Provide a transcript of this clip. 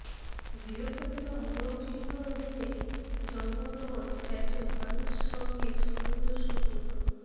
গৃহপালিত মোরগ চিহ্ন অধীনে জন্মগ্রহণ একজন মানুষ সঙ্গে সামঞ্জস্যপূর্ণ